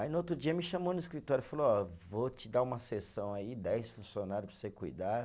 Aí no outro dia me chamou no escritório e falou, ó, vou te dar uma sessão aí, dez funcionários para você cuidar.